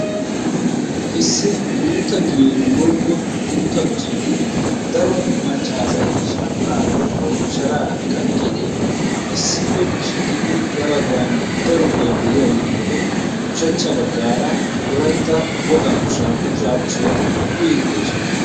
issi guuta giyeni woykko guuta qocceni daro macca asay shanxxaa woykko shaaraa kaqiidi issippe shiiqidi ya bagan daro giyay de'iyageetuppe ya baggan wolaytta wogaa ushsha bushshaabushshiya uyiidi de'oosona.